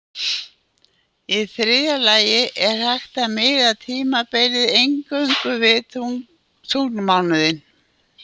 Í þriðja lagi er hægt að miða tímatalið eingöngu við tunglmánuðinn.